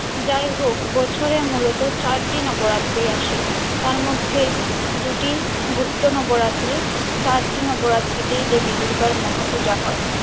যাই হোক বছরে মূলত চার দিন নবরাত্রি আসে তার মধ্যে দুটি গুপ্ত নবরাত্রি চারটি নবরাত্রি তেই দেবী দূর্গার মহাপূজা হয়।